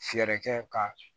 Fɛɛrɛ kɛ ka